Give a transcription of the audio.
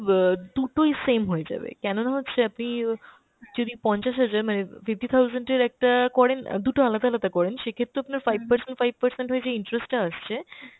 ব দুটোই same হয়ে যাবে, কেন না হচ্ছে আপনি অ যদি পঞ্চাশ হাজার মানে fifty thousand এর একটা করেন অ্যাঁ দুটো আলাদা আলাদা করেন সেক্ষেত্রেও আপনার five percent five percent হয়ে যে interest টা আসছে